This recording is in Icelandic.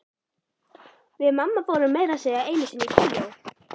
Við mamma fórum meira að segja einu sinni í bíó.